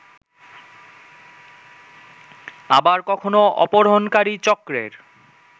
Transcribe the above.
আবার কখনো অপহরণকারী চক্রের